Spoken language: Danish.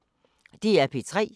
DR P3